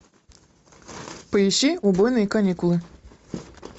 поищи убойные каникулы